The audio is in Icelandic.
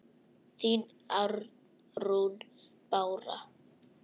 Þín, Arnrún Bára.